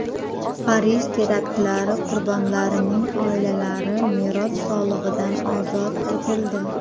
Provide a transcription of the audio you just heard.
Parij teraktlari qurbonlarining oilalari meros solig‘idan ozod etildi.